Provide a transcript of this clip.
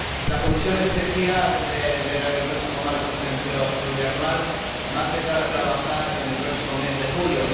La comisión especial del próximo marco financiero plurianual va a empezar a trabajar en el próximo mes de julio.